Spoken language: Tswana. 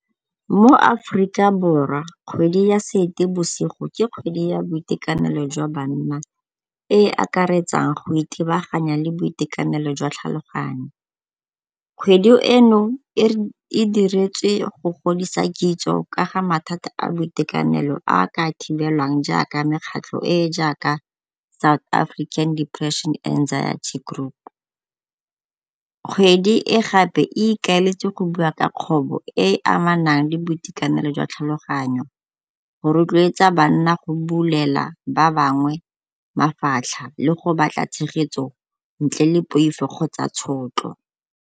Mo Aforika Borwa kgwedi ya Seetebosigo ke kgwedi ya boitekanelo jwa banna e e akaretsang go ithebaganya le boitekanelo jwa tlhaloganyo. Kgwedi eno e diretswe go godisa kitso ka ga mathata a boitekanelo a a ka thibelwang jaaka mekgatlho e e jaaka South African Depression Anxiety Group. Kgwedi e gape e ikaeletse go bua ka kgobo e e amanang le boitekanelo jwa tlhaloganyo go rotloetsa banna go bulela ba bangwe mafatlha le go batla tshegetso ntle le poifo kgotsa tshotlo.